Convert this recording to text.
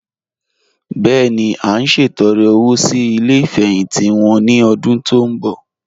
Bẹ́ẹ̀ni, à n ṣẹtọ̀rẹ́ owo sí ilẹ̀ ifẹ́hìntì wọn ni ọ̀dún tó nbọ̀.